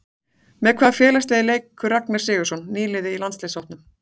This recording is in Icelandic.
Með hvaða félagsliði leikur Ragnar Sigurðsson, nýliði í landsliðshópnum?